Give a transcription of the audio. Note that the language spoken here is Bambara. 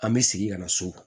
An bɛ segin ka na so